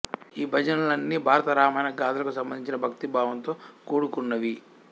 ఈ భజనలన్నీ భారత రామాయణ గాధలకు సంబంధించి భక్తి భావంతో కూడు కున్నవి